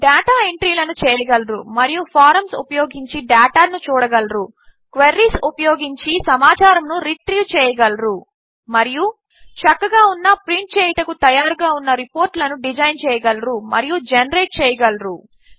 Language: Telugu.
డేటా ఎంట్రీలను చేయగలరు మరియు ఫారంస్ ఉపయోగించి డేటాను చూడగలరు క్వెరీస్ ఉపయోగించి సమాచారమును రిట్రీవ్ చేయగలరు మరియు చక్కగా ఉన్న ప్రింట్ చేయుటకు తయారుగా ఉన్న రిపోర్ట్లను డిజైన్ చేయగలరు మరియు జెనరేట్ చేయగలరు